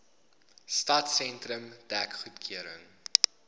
stadsentrum dek goedgekeur